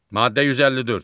Maddə 154.